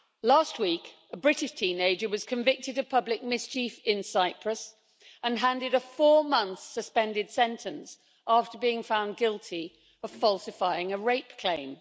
Last week, a British teenager was convicted of public mischief in Cyprus and handed a four month suspended sentence after being found guilty of falsifying a rape claim.